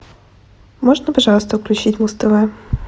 можно пожалуйста включить муз тв